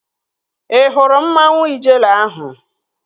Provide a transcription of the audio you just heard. Ị hụrụ mmanwu Ijele ahụ?